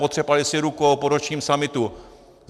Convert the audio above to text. Potřepali si rukou po ročním summitu.